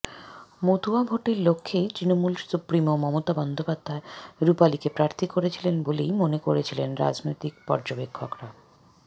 মতুয়া ভোটের লক্ষ্যেই তৃণমূল সুপ্রিমো মমতা বন্দ্যোপাধ্যায় রূপালিকে প্রার্থী করেছিলেন বলেই মনে করেছিলেন রাজনৈতিক পর্যবেক্ষকরা